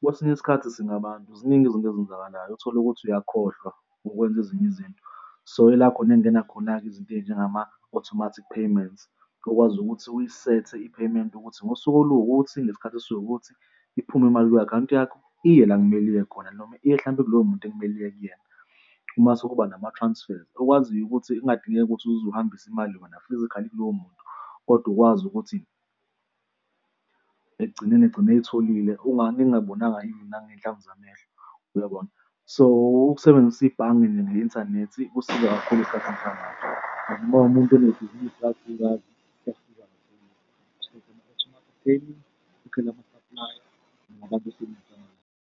kwesinye isikhathi singabantu ziningi izinto ezenzakalayo. Utholukuthi uyakhohlwa ukwenza ezinye izinto. So, ila khona ekungena khona-ke izinto ey'njengama-automatic payments okwazi ukuthi uyisethe i-payement ukuthi ngosuku oluwukuthi ngesikhathi esiwukuthi iphume imali kwi-akhawunti yakho iye la okumele iye khona noma iye hlampe kuloyo muntu ekumele iye kuyena. Mase kuba nama-transfers okwaziyo ukuthi kungadingeki ukuthi uze uhambise imali kuyona physically kuloyo muntu, kodwa ukwazi ukuthi ekugcineni egcine eyitholile ningabonanga even nangey'nhlamvu zamehlo, uyabona? So ukusebenzisa ibhange nge-inthanethi kusiza kakhulu isikhathini samanje, noma umuntu unebhizinisi kakhulukazi hlampe ukwazi ukuthi u-check-e ama-automatic payments ukhokhele ama-supplier nabantu .